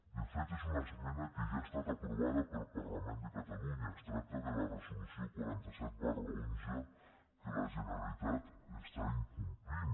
de fet és una esmena que ja ha estat aprovada pel parlament de catalunya es tracta de la resolució quaranta set xi que la generalitat està incomplint